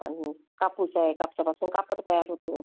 आणि कापूस कापसापासून कापड तयार होतो.